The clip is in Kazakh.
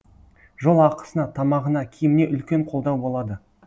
жол ақысына тамағына киіміне үлкен қолдау болады